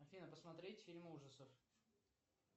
афина посмотреть фильм ужасов